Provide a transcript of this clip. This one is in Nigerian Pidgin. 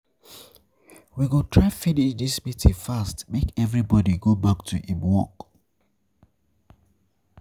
We go try finish dis meeting fast make everybodi go back to im work.